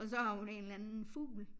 Og så har hun en eller anden fugl